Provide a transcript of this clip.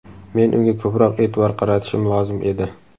Men unga ko‘proq e’tibor qaratishim lozim edi.